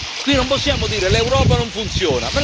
Qui non possiamo dire l'Europa non funziona.